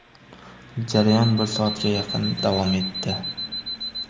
Jarayon bir soatga yaqin davom etdi.